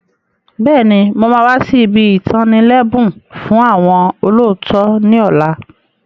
Bẹ́ẹ̀ni, mo máa wà sì ibi itani lẹbun fún àwọn olóòótọ́ ni ọ̀la.